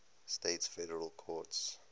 states federal courts